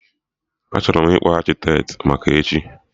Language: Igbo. Achọrọ m ịkpọ Akịtet maka echi